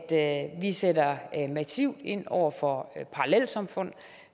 at vi sætter massivt ind over for parallelsamfund